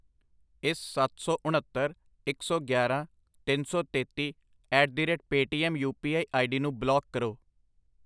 ਇਸ ਸੱਤ ਸੌ, ਉਣੱਤਰ, ਇੱਕ ਸੌ ਗਿਆਰਾਂ, ਤਿੰਨ ਸੌ ਤੇਤੀ at the rate Paytm U P I ID ਨੂੰ ਬਲਾਕ ਕਰੋ I